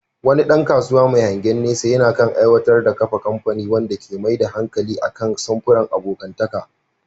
Wani ɗan kasuwa mai hangen nesa yana kan aiwatar da kafa kamfani wanda ke mai da hankali kan samfuran abokantaka.